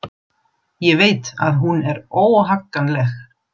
Ég veit að hún er óhagganleg.